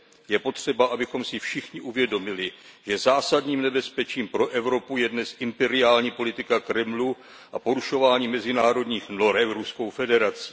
Je potřeba, abychom si všichni uvědomili, že zásadním nebezpečím pro Evropu je dnes imperiální politika Kremlu a porušování mezinárodních norem Ruskou federací.